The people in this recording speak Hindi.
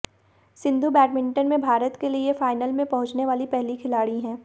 सिंधु बैडमिंटन में भारत के लिए फाइनल में पहुंचने वाली पहली खिलाड़ी हैं